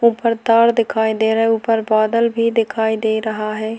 ऊपर तार दिखाई दे रहा है ऊपर बादल भी दिखाई दे रहा है।